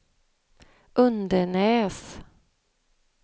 Undenäs